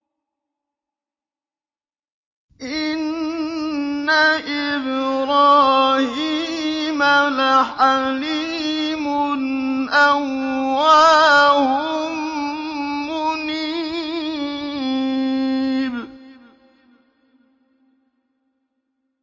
إِنَّ إِبْرَاهِيمَ لَحَلِيمٌ أَوَّاهٌ مُّنِيبٌ